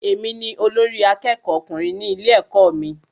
Èmi ni olórí àkẹ́kọ̀ọ ọkùnrin ní ilé ẹ̀kọ́ mí.